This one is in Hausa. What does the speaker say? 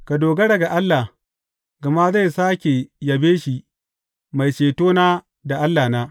Ka dogara ga Allah, gama zai sāke yabe shi, Mai Cetona da Allahna.